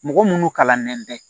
Mɔgɔ munnu kalannen tɛ